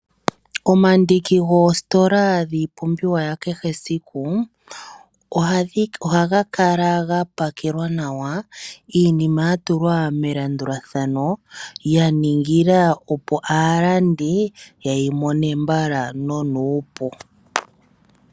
Omandiki goositola dhiipumbiwa yakehe esiku ohaga kala ga pakelwa nawa. Iinima ya tulwa melandulathano ya ningila opo aalandi ye yi mone mabala nonuupu.